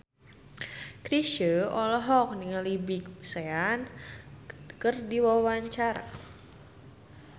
Chrisye olohok ningali Big Sean keur diwawancara